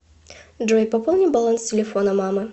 джой пополни баланс телефона мамы